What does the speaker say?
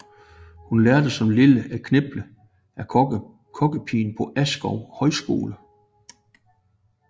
Hun lærte som lille at kniple af kokkepigen på Askov Højskole